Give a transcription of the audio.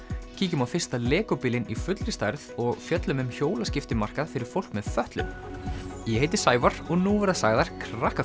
kíkjum á fyrsta bílinn í fullri stærð og fjöllum um fyrir fólk með fatlanir ég heiti Sævar og nú verða sagðar